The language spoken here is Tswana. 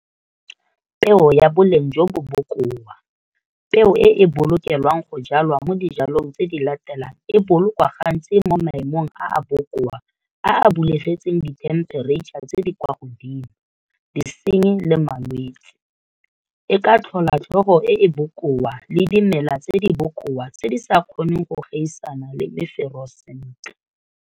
Peo ya boleng jo bo bokoa, peo e e bolokelwang go jalwa mo dijalong tse di latelang e bolokwa gantsi mo maemong a a bokoa a a bulegetseng dithemphereitšha tse di kwa godimo, disenyi le malwetse, e ka tlhola tlhogo e e bokoa le dimela tse di bokoa tse di sa kgoneng go gaisana le mefero sentle.